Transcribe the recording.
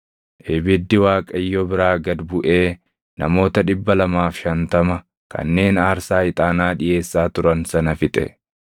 Ibiddi Waaqayyo biraa gad buʼee namoota 250 kanneen aarsaa ixaanaa dhiʼeessaa turan sana fixe.